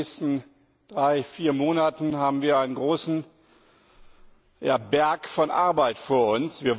In den nächsten drei, vier Monaten haben wir einen großen Berg von Arbeit vor uns.